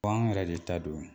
Ko an yɛrɛ de ta don